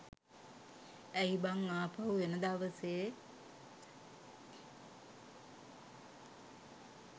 ඇයි බං ආපහු එන දවසේ